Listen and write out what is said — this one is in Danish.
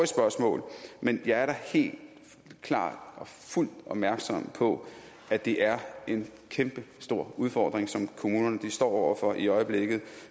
spørgsmål men jeg er da helt klart og fuldt opmærksom på at det er en kæmpestor udfordring som kommunerne står over for i øjeblikket